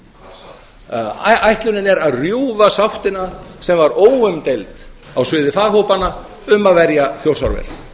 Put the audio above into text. um rammaáætlun ætlunin er að rjúfa sáttina sem var óumdeild á sviði faghópanna um að verja þjórsárver